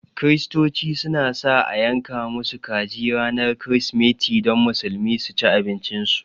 Kirsitoci su na sa a yanka musu kaji ranar kirismeti don Musulmi su ci abincin su